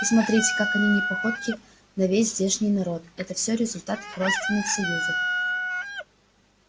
и смотрите как они не походки на весь здешний народ это все результат их родственных союзов